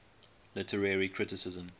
literary criticism